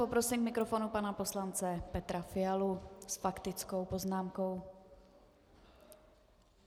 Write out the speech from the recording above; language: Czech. Poprosím k mikrofonu pana poslance Petra Fialu s faktickou poznámkou.